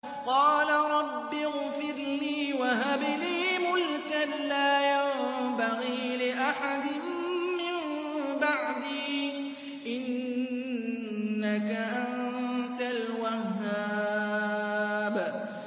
قَالَ رَبِّ اغْفِرْ لِي وَهَبْ لِي مُلْكًا لَّا يَنبَغِي لِأَحَدٍ مِّن بَعْدِي ۖ إِنَّكَ أَنتَ الْوَهَّابُ